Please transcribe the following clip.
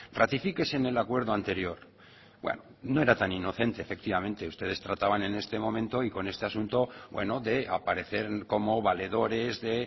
ratifíquese en el acuerdo anterior bueno no era tan inocente efectivamente ustedes trataban en este momento y con este asunto bueno de aparecer como valedores de